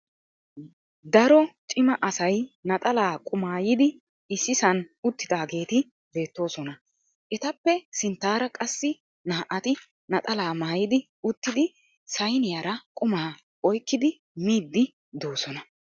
Daro cima asay naxalaa qumaayidi issisan uttidaageeti beettoosona. Etappe sinttaara qassi naa"ati naxalaa maayidi uttidi sayiniyara qumaa oyikkidi miiddi doosona.